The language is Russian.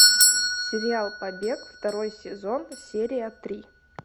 сериал побег второй сезон серия три